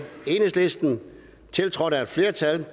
tiltrådt af et flertal